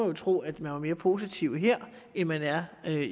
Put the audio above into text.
jo tro at man er mere positiv her end man er